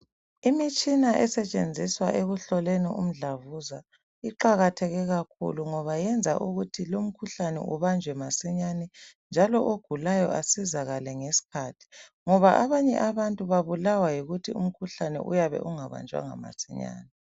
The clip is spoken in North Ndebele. Imitshina esetshenziswa ekuhloleni umdlabuza iqakatheke kakhulu ngoba yenza ukuthi lumkhuhlane ubanjwe masinyane njalo ogulayo asizakale ngesikhathi ngoba abanye abantu babulawa yikuthi umkhuhlane uyabe ungabanjwanga masinyane.